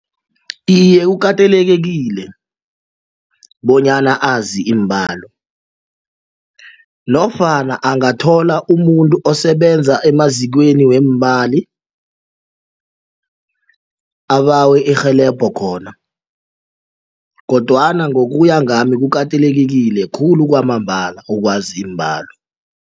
Iye, kukatelelekile bonyana azi iimbalo nofana angathola umuntu osebenza emazikweni weemali abawe irhelebho khona kodwana ngokuya ngami kukatelelekile khulu kwamambala ukwazi iimbalo.